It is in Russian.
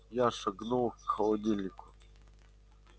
я шагнул к холодильнику